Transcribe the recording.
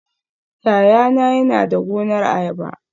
Yayana yana da gonar ayaba